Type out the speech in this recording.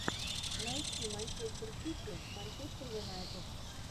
найти манчестер сити манчестер юнайтед